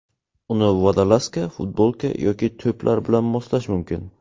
Uni vodolazka, futbolka yoki toplar bilan moslash mumkin.